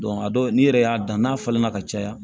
a dɔw n'i yɛrɛ y'a dan n'a falenna ka caya